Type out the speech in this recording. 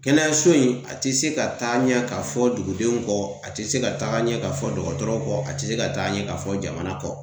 Kɛnɛyaso in, a te se ka taa ɲɛ ka fɔ dugudenw kɔ, a te se ka taa ɲɛ ka fɔ dɔgɔtɔrɔ kɔ , a te se ka taa ɲɛ ka fɔ jamana kɔ.